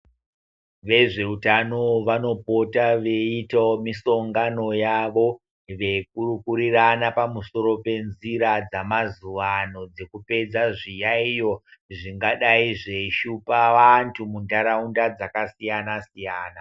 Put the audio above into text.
Vezveutano vanopota veiitawo misongano yavo veikurukurirana pamusoro penzira dzamazuva ano dzekupedza zviyaiyo zvingadai zveishuoa vantu muntaraunda dzakasiyana siyana.